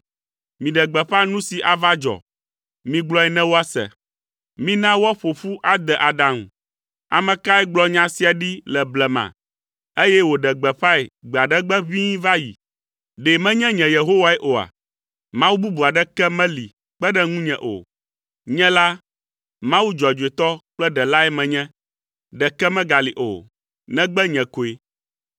Miɖe gbeƒã nu si ava dzɔ. Migblɔe ne woase. Mina woaƒo ƒu ade aɖaŋu. Ame kae gblɔ nya sia ɖi le blema, eye wòɖe gbeƒãe gbe aɖe gbe ʋĩi va yi? Ɖe menye nye Yehowae oa? Mawu bubu aɖeke meli kpe ɖe ŋunye o. Nye la, Mawu dzɔdzɔetɔ kple Ɖelae menye. Ɖeke megali o, negbe nye koe.